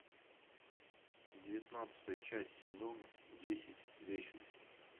девятнадцатая часть сезона десять вечность